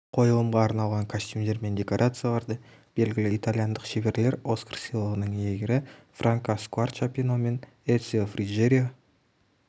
қойылымға арналған костюмдер мен декорацияларды белгілі итальяндық шеберлер оскар сыйлығының иегері франка скуарчапино мен эцио фриджерио